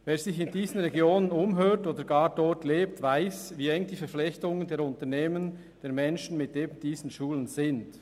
Wer sich in diesen Regionen umhört oder gar dort lebt, weiss, wie eng die Verflechtungen der Unternehmen und der Menschen mit diesen Schulen sind.